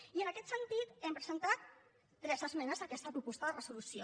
i en aquest sentit hem presentat tres esmenes a aquesta proposta de resolució